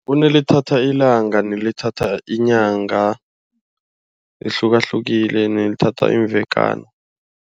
Kunelithatha ilanga, nelithatha inyanga. Lihlukahlukile nelithatha imvekana.